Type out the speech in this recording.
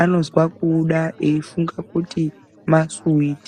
anozwa kuuda eyifunga kuti masuwiti.